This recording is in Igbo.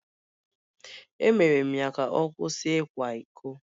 Emere m ya ka ọ kwụsị ịkwa iko